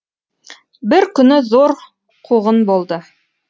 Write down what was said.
бір күні зор қуғын болды